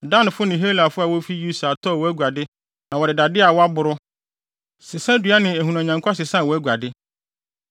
Danfo ne Helafo a wofi Usal tɔɔ wʼaguade na wɔde dade a wɔaboro, sesadua ne ahunuanyankwa sesaa wʼaguade.